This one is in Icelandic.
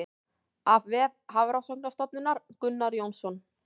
Af vef Hafrannsóknastofnunar Gunnar Jónsson.